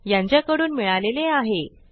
यासंबंधी माहिती पुढील साईटवर उपलब्ध आहे